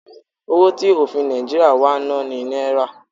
Owo ti ofin Naijiria wa ni Naira